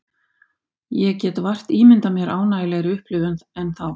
Ég get vart ímyndað mér ánægjulegri upplifun en þá.